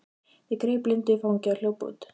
Ég greip Lindu í fangið og hljóp út.